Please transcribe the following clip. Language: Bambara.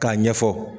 K'a ɲɛfɔ